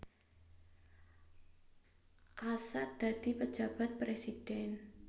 Assaat dadi Pejabat Presiden